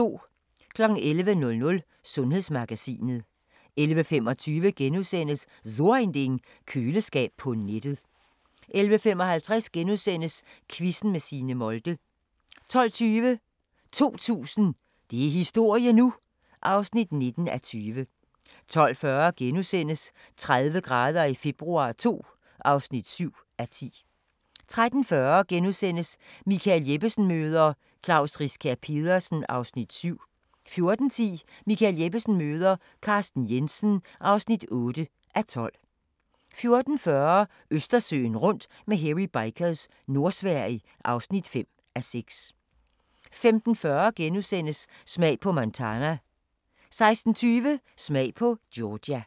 11:00: Sundhedsmagasinet 11:25: So Ein Ding: Køleskab på nettet * 11:55: Quizzen med Signe Molde * 12:20: 2000 – det er historie nu! (19:20) 12:40: 30 grader i februar II (7:10)* 13:40: Michael Jeppesen møder ... Klaus Riskær Pedersen (7:12)* 14:10: Michael Jeppesen møder ... Carsten Jensen (8:12) 14:40: Østersøen rundt med Hairy Bikers – Nordsverige (5:6) 15:40: Smag på Montana * 16:20: Smag på Georgia